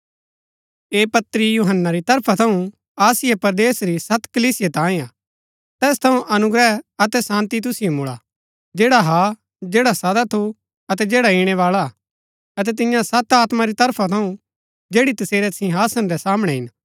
ऐह पत्री यूहन्‍ना री तरफा थऊँ आसिया परदेस री सत कलीसिया तांये हा तैस थऊँ अनुग्रह अतै शान्ती तुसिओ मुळा जैडा हा जैडा सदा थू अतै जैडा इणैवाळा हा अतै तिन्या सत आत्मा री तरफा थऊँ जैड़ी तसेरै सिंहासन रै सामणै हिन